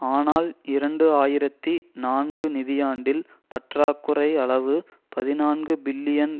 ஆனால் இரண்டு ஆயிரத்தி நான்குநிதியாண்டில் பற்றாக்குறை அளவு பதினான்கு பில்லியன்